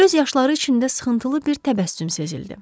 Göz yaşları içində sıxıntılı bir təbəssüm sezildi.